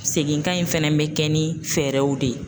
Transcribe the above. Seginkan in fɛnɛ bɛ kɛ ni fɛɛrɛw de ye.